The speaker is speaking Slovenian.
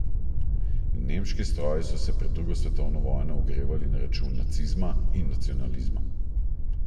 Nemški stroji so se pred drugo svetovno vojno ogrevali na račun nacizma in nacionalizma.